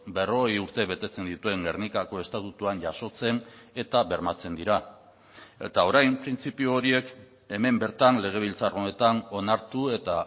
berrogei urte betetzen dituen gernikako estatutuan jasotzen eta bermatzen dira eta orain printzipio horiek hemen bertan legebiltzar honetan onartu eta